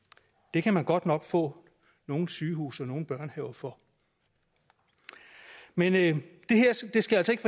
det kan man godt nok få nogle sygehuse og nogle børnehaver for men det her skal altså ikke